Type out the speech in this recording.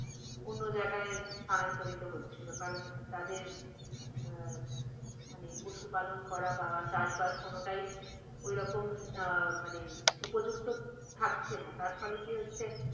অন্য জায়গায় স্থান্তরিত হচ্ছিল কারণ তাদের আহ মানে পশু পালন করা বা চাষবাস কোনটাই ওই রকম আহ মানে উপযুক্ত থাকছে না, তার ফলে কি হচ্ছে?